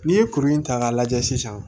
N'i ye kuru in ta k'a lajɛ sisan